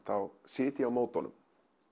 þá sit ég á móti honum